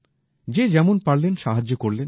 যে যেমন পারলেন সাহায্য করলেন